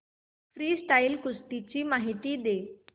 freestyle कुस्ती ची माहिती दे